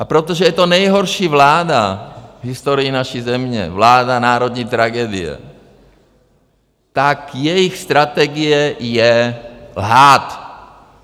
A protože je to nejhorší vláda v historii naší země, vláda národní tragedie, tak jejich strategie je lhát.